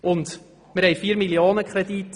Wir haben einen 4-Mio.-Franken-Kredit.